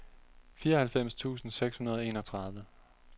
fireoghalvfems tusind seks hundrede og enogtredive